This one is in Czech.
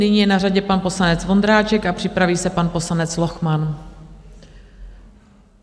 Nyní je na řadě pan poslanec Vondráček a připraví se pan poslanec Lochman.